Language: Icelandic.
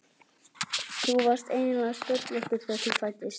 Þú varst eiginlega sköllóttur þegar þú fæddist.